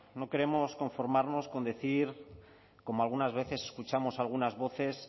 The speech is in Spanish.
no queremos conformarnos con decir como algunas veces escuchamos algunas voces